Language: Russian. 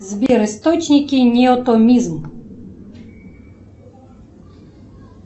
сбер источники неотомизм